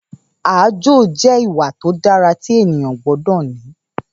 Ààjò jẹ́ ìwà tó dára tí ènìyàn gbọ́dọ̀ ní